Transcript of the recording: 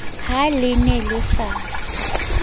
ha le ne le sa